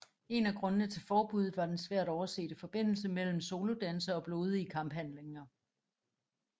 En af grundene til forbuddet var den svært oversete forbindelse mellem soldanse og blodige kamphandlinger